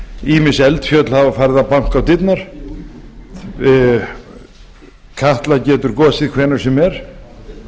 ýmis eldfjöll hafa farið að banka á dyrnar katla getur kosið hvenær sem er